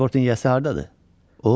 Pasportun yəası hardadır?